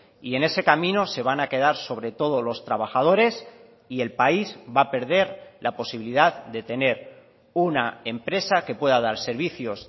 y en ese camino se van a quedar sobre todo los trabajadores y el país va a perder la posibilidad de tener una empresa que pueda dar servicios